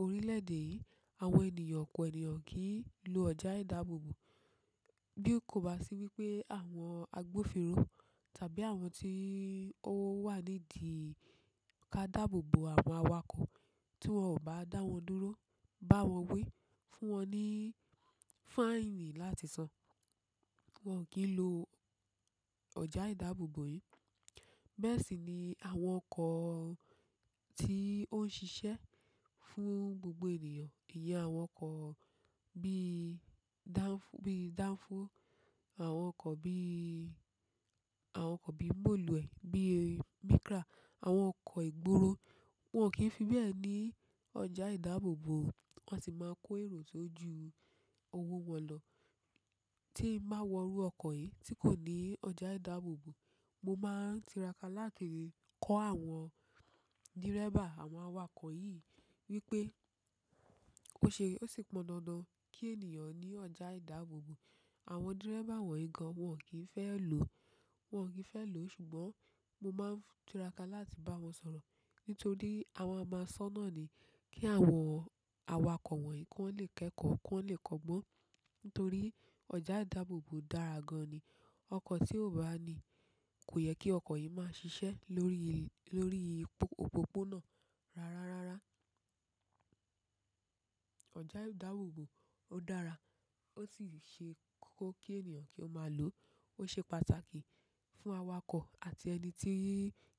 orílẹ̀-èdè yìí àwọn ènìyàn ọ̀pọ̀ ènìyàn kì í lo ọjà ìdáàbòbò. Bí kò bá sí wípé àwọn agbófinró tàbí àwọn tí ó wà nídìí ká dààbòbò àwọn awakọ̀ tí wọ́n ò bá dá wọn dúró, bá wọn wi, fún wọn ní fáìnì láti san. Wọn kì í lo ọjà ìdáàbòbò yìí. Bẹ́ẹ̀ sì ni àwọn ọkọ̀ tí ó ń ṣiṣẹ́ fún gbogbo ènìyàn. Ìyẹ́ àwọn ọkọ̀, bi bí i danfo, àwọn ọkọ̀ bí i, àwọn ọkọ̀ bí i mọ̀lúẹ̀, bí i Micra, àwọn ọkọ̀ ìgboro, wọ́n kì í fi bẹ́ẹ̀ ní ọjà ìdáàbòbò. Wọn sì máa ń kó èrò tójú owó wọn lọ. Tí ì bá wo rú ọkọ̀ yìí tí kò ní ọjà ìdáàbòbò, mo máa tiraka láti kọ́ àwọn dírẹ́bà, àwọn awakọ̀ yìí wípé o ṣe, ó sì pọn dandan kí ènìyàn ní ọjà ìdáàbòbò. Àwọn dírẹ́bà wọ̀nyí gan wọ́n kì í fẹ́ lò, wọ́n kì í fẹ́ lò ṣùgbọ́n mo máa tiraka láti bá wọn sọ̀rọ̀ nítorí àwọn máa sọ́nà ni kí àwọn awakọ̀ wọ̀nyí kí wọ́n lè kẹ́kọ̀ọ́, kí wọ́n lè kọgbọ́n. Nítorí ọjà ìdáàbòbò dára gan ni. Ọkọ̀ tí ó bá ní, kò yẹ kí ọkọ̀ yìí máa ṣiṣẹ́ lórí, lórí òpópónà rárárára ìdáàbòbò ó dára ó sì ṣe kókó kí ènìyàn kí ó máa lò. Ó ṣe pàtàkì fún awakọ̀ àti ẹni tí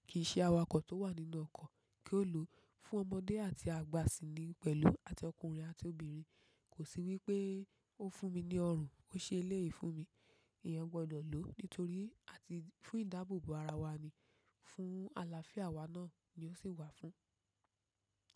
kì í ṣe awakọ̀ tó wà nínú ọkọ̀ kí ó lò. Fún ọmọdé àti àgbà sì ni pẹ̀lú àti ọkùnrin àti obìnrin. Kò sí wípé ó fún mi ní ọrùn, ó ṣe eléyìí fún mi. Iyan gbọdọ̀ lò nítorí àti fún ìdáàbòbò ara wa ni, fún àlàáfíà wa náà ni ó sì wà fún.